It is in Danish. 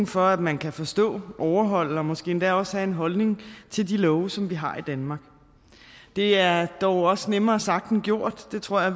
for at man kan forstå overholde og måske endda også have en holdning til de love som vi har i danmark det er dog også nemmere sagt end gjort det tror jeg